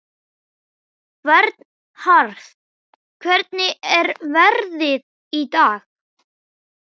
Vernharð, hvernig er veðrið í dag?